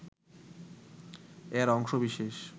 এর অংশ বিশেষ